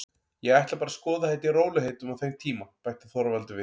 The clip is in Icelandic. Ég ætla bara að skoða þetta í rólegheitum á þeim tíma, bætti Þorvaldur við.